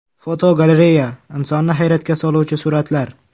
Fotogalereya: Insonni hayratga soluvchi suratlar.